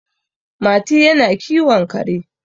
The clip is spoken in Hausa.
Mati yana kiwon kare